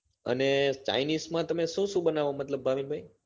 અને chinese માં તમે શું શું બનાવો મતલબ ભાવિન ભાઈ